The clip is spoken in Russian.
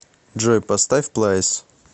джой поставь плайс